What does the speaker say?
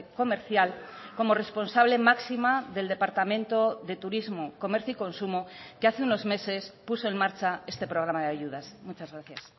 comercial como responsable máxima del departamento de turismo comercio y consumo que hace unos meses puso en marcha este programa de ayudas muchas gracias